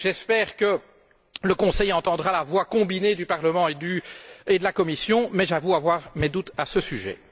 J'espère que le Conseil entendra la voix combinée du Parlement et de la Commission, mais j'avoue avoir mes doutes à ce sujet.